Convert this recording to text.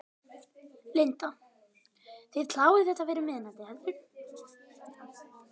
Linda: Þið klárið þetta fyrir miðnætti, heldurðu?